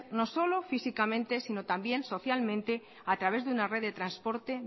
no solo físicamente sino también socialmente a través de una red de transporte